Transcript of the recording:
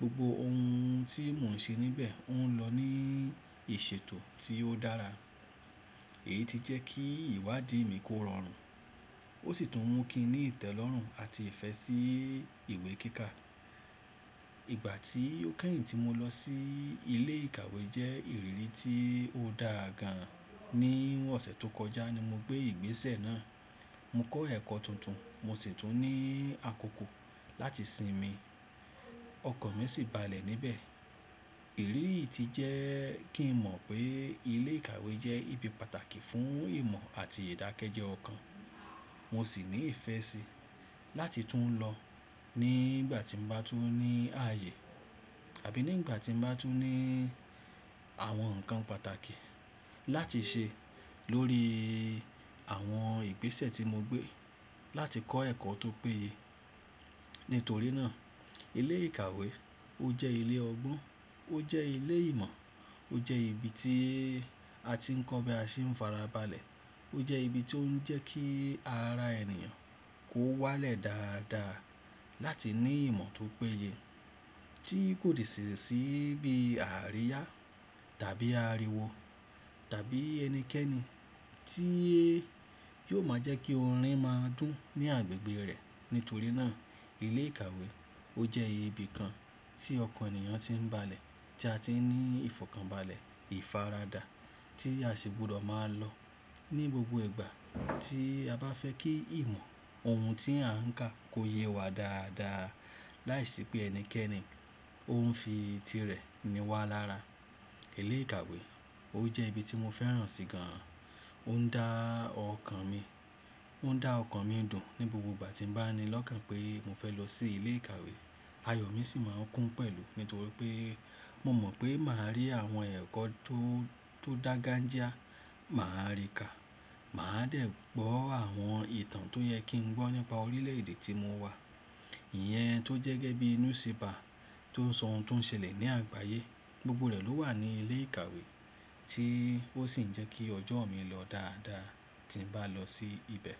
Gbogbo ohun tí mò ń ṣe níbẹ̀ ń lọ ní ìṣètò tí ó dára. Èyí ti jẹ́ kí ìwádìí mi kó rọrùn ó sì tún mú kí i ní ìtẹ́lọ́rùn àti ìfẹ́ sí ìwé kíkà. Ìgbà tí ó kẹ́yìn tí mo lọ sí ilé ìkàwé jẹ́ ìrírí tí ó da gan. Ni ọ̀sẹ̀ tó kọjá ni mo gbé ìgbésẹ̀ náà. Mo kọ́ ẹ̀kọ́ tuntun, mo sì tún ní àkókò láti sinmi, ọkàn mi sì balẹ̀ níbẹ̀. Ìrírí yìí ti jẹ́ kí n mọ̀ pé ilé ìkàwé jẹ́ ibi pàtàkì fún ìmọ̀ àti ìdákẹ́jẹ́ ọkàn. Mo sì ní ìfẹ́ síi láti tún lọ nígbà tí mo bá tún ní ààyè àbí nígbà tí mo bá tún ní àwọn nǹkan pàtàkì láti ṣe lórí àwọn ìgbésẹ̀ tí mo gbé láti kọ́ ẹ̀kọ́ tó péye. Nítorí náà ilé ìkàwé ó jẹ́ ilé ọgbọ́n, ó jẹ́ ilé ìmọ̀, ó jẹ́ ibi tí a ti ń kọ́ bí a ṣe ń fara balẹ̀. Ó jẹ́ ibi tó ń jẹ́ kí ara ènìyàn kó wálẹ̀ dáadáa láti ní ìmọ̀ tó péye tí kò de sì si bí àríyá tàbí àríwó tàbí ẹnikẹ́ni tí yóò máa jẹ́ kí orin máa dùn ní agbègbè rẹ̀. Nítorí náà ilé ìkàwé ó jẹ́ ibi kan tí ọkàn ènìyàn ti ń balẹ̀, tí a ti ń ní ìfọ̀kànbalẹ̀ ìfaradà tí a sì gbúdọ̀ máa lọ ní gbogbo ìgbà tí a bá fẹ́ kí ìmọ̀ ohun tí à ń kà kó yẹ wá dáadáa láìsí pé ẹnikẹ́ni ó ń fi tirẹ̀ ni wá lára. Ilé ìkàwé ó jẹ́ ibi tí mo fẹ́ràn sì gan. Ó ń dá ọkàn mi, ó ń dá ọkàn mi dùn ní gbogbo ìgbà tí bàá ni lọ́kàn pé mo fẹ́ lọ sí ilé ìkàwé. Ayọ̀ mi sì máa ń kún pẹ̀lú nítorí pé mo mọ̀ pé màá rí àwọn ẹ̀kọ́ tó dágan já, màá rí kà, màá dẹ̀ gbọ́ àwọn ìtàn tó yẹ kí n gbọ́ nípa orílẹ̀ èdè tí mo wà. Ìyẹn tó jẹ́ gẹ́gẹ́ bí newspaper tó sọ ohun tó ń ṣẹlẹ̀ ní àgbáyé. Gbogbo rẹ̀ ló wà ní ilé ìkàwé tí ó sì ń jẹ́ kí ọjọ́ mi lọ dáadáa tí n bá lọ sí ibẹ̀.